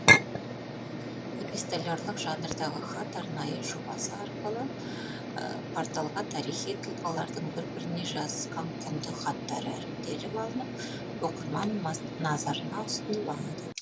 эпистолярлық жанрдағы хат арнайы жобасы арқылы порталға тарихи тұлғалардың бір біріне жазысқан құнды хаттары іріктеліп алынып оқырман назарына ұсынылады